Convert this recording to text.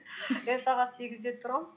мен сағат сегізде тұрамын